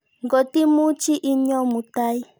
Ngot imuchi inyoo mutai.